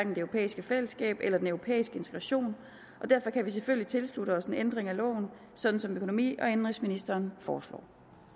europæiske fællesskab eller den europæiske integration og derfor kan vi selvfølgelig tilslutte os en ændring af loven sådan som økonomi og indenrigsministeren foreslår